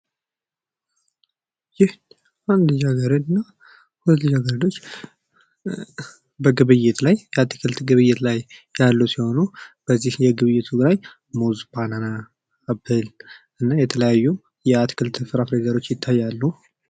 ይህ በአንድ ልጃገረድ እና ሁለት ልጃገረዶች በአትክልት ግብይት ላይ ያሉ ሲሆኑ ፤ በዚህ ግብይት ላይ ሙዝ፣ ባናና፣ አፕል፣ እና የተለያዩ የአትክልት እና ፍራፍሬ አይነቶች ይታያሉ።